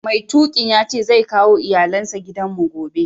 Mai tukin yace zai kawo iyallen sa gidan mu gobe.